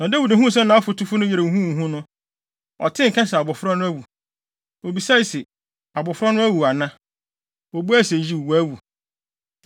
Na Dawid huu sɛ nʼafotufo no reyɛ huhuhuhu no, ɔtee nka sɛ abofra no awu. Obisae se, “Abofra no awu ana?” Wobuae se, “Yiw, wawu.”